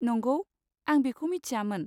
नंगौ? आं बेखौ मिथियामोन!